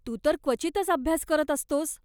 तू तर क्वचितच अभ्यास करत असतोस.